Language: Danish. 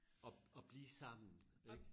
At at blive sammen ik?